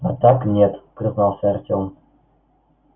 а так нет признался артём